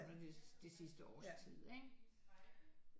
Under det sidste års tid ikke